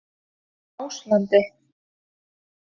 Áslandi